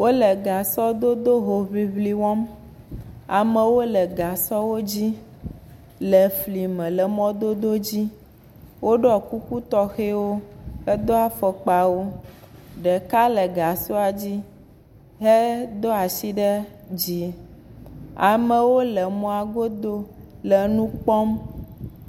Wole gasɔdodo hoŋiŋli wɔm, amewo le gasɔwo dzi le fli me le mɔdodowo dzi, woɖɔ kuku tɔxɛwo hedo afɔkpawo, ɖeka le gasɔa dzi hedo asi ɖe dzi, amewo le mɔa godo le nu kpɔm,